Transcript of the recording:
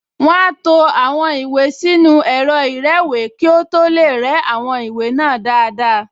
Wọ́n á to àwọn ìwé sínú ẹ̀rọ ìrẹ́wèé kí ó tó lè rẹ́ àwọn ìwé náà dáadáa